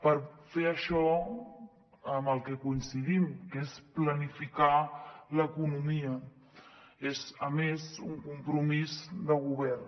per fer això en el que coincidim que és planificar l’economia és a més un compromís de govern